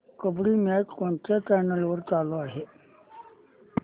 kabaddi match कोणत्या channel वर चालू आहे